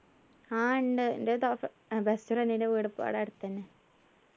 ആഹ് ഉണ്ട് എൻ്റെ തോ best friend ൻ്റെ വീട് പൊ ഇവിടെ അടുത്തന്നെ